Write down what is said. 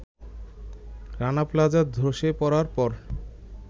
Rana plaza ধসে পড়ার পর